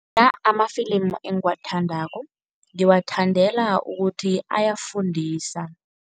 Amafilimu engiwathandako, ngiwathandela ukuthi ayafundisa.